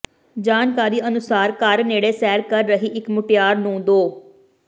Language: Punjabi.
ਜਾਣਕਾਰੀ ਅਨੁਸਾਰ ਘਰ ਨੇੜੇ ਸੈਰ ਕਰ ਰਹੀ ਇਕ ਮੁਟਿਆਰ ਨੂੰ ਦੋ